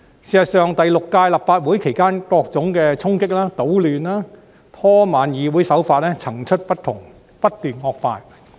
事實上，在第六屆立法會期間，各種衝擊、搗亂、拖慢議會的手法層出不窮，不斷惡化。